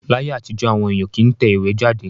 Láyé àtijọ́, àwọn èèyàn kì í tẹ ìwé jáde